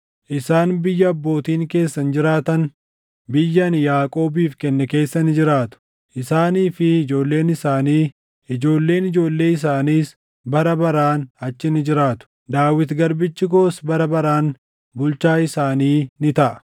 Isaan biyya abbootiin keessan jiraatan, biyya ani Yaaqoobiif kenne keessa ni jiraatu. Isaanii fi ijoolleen isaanii, ijoolleen ijoollee isaaniis bara baraan achi ni jiraatu; Daawit garbichi koos bara baraan bulchaa isaanii ni taʼa.